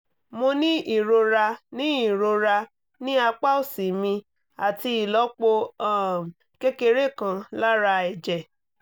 mo ní ìrora ní ìrora ní apá òsì mi àti ìlọ́po um kékeré kan lára ẹ̀jẹ̀